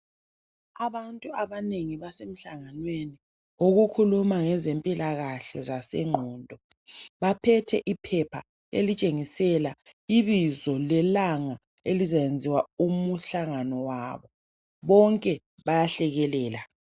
Abantu abanengi basemhlanganweni okukhuluma ngezempilakahle zengqondo. Baphethe iphepha elitshengisela ibizo lelanga elizayenziwa umhlangano wabo, bonke bayahlekelela.